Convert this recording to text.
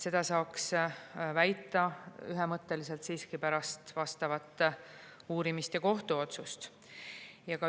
Seda saaks ühemõtteliselt väita siiski pärast vastavat uurimist ja kohtuotsust.